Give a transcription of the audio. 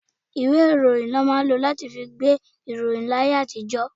Ìwé ìròyìn ni wọn máa ń lọ láti fí gbé ìròyìn láyé àtijó.